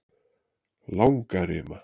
Langarima